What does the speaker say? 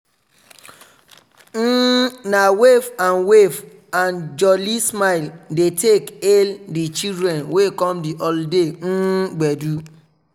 um na wave and wave and jooly smile dey take hal di children wey come di holiday um gbedu.